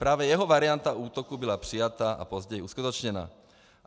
Právě jeho varianta útoku byla přijata a později uskutečněna.